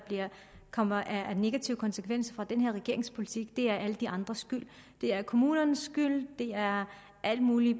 kommer af negative konsekvenser af den her regerings politik er alle de andres skyld det er kommunernes skyld det er alle mulige